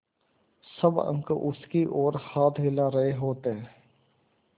सब अंक उसकी ओर हाथ हिला रहे होते